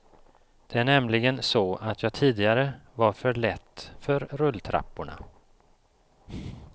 Det är nämligen så att jag tidigare var för lätt för rulltrapporna.